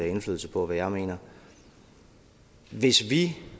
indflydelse på hvad jeg mener hvis vi